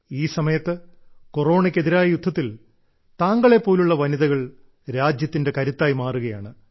ഈ സമയത്ത് കൊറോണയ്ക്ക് എതിരായ യുദ്ധത്തിൽ താങ്കളെ പോലുള്ള വനിതകൾ രാജ്യത്തിന്റെ കരുത്തായി മാറുകയാണ്